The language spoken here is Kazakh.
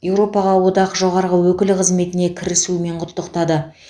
еуропаға одақ жоғарғы өкілі қызметіне кірісуімен құттықтады